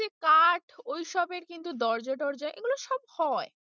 ওই যে কাঠ ওইসবের কিন্তু দরজা-টরজা এগুলো সব হয়।